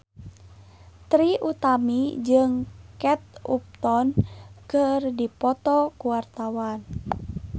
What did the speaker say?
Trie Utami jeung Kate Upton keur dipoto ku wartawan